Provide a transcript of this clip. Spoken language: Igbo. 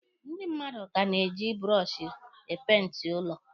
Ndị mmadụ ka na-eji bụrọshị e peenti ụlọ.